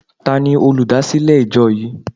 Tani olúdásílè ìjọ yìí?